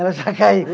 Ela já caiu.